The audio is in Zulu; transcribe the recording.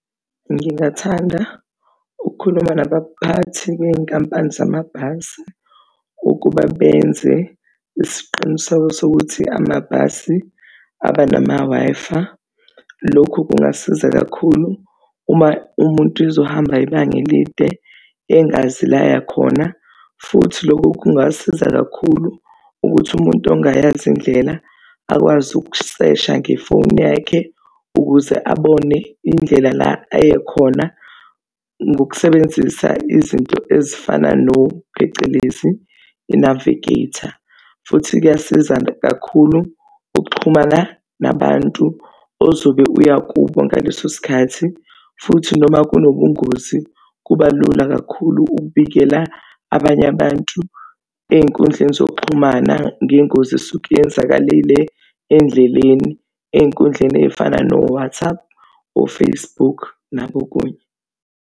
Ngingathanda ukukhuluma nabaphathi bezinkampani zamabhasi ukuba benze isiqiniseko sokuthi amabhasi aba nama-Wi-Fi. Lokhu kungasiza kakhulu uma umuntu ezohamba ibanga elide engazi la aya khona. Futhi lokhu kungasiza kakhulu ukuthi umuntu ongayazi indlela akwazi ukusesha ngefoni yakhe ukuze abone indlela la eya khona, ngokusebenzisa izinto ezifana phecelezi i-navigator futhi kuyasiza kakhulu ukuxhumana nabantu ozobe uya kubo ngaleso sikhathi. Futhi noma kunobungozi, kuba lula kakhulu ukubikela abanye abantu ey'nkundleni zokuxhumana ngengozi esuke iyenzakalile endleleni, ey'nkundleni ey'fana no-WhatsApp o-Facebook nakokunye.